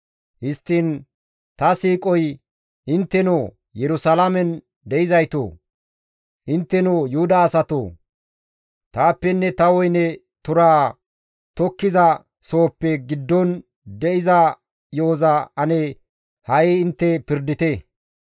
Histtiin ta siiqoy, «Intteno Yerusalaamen de7izaytoo! Intteno Yuhuda asatoo! Taappenne ta woyne turaa tokkiza sohozappe giddon de7iza yo7oza ane ha7i intte pirdite.